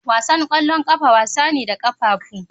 Wasan ƙwallon ƙafa wasa ne da ƙafafu.